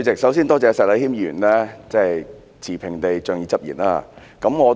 首先，多謝石禮謙議員持平地仗義執言。